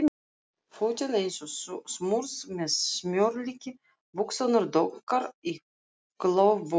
Fötin eins og smurð með smjörlíki, buxurnar dökkar í klofbótina.